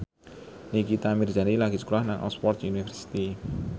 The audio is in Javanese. Nikita Mirzani lagi sekolah nang Oxford university